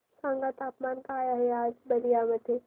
सांगा तापमान काय आहे आज बलिया मध्ये